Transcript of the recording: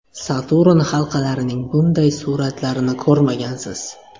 Saturn halqalarining bunday suratlarini ko‘rmagansiz!.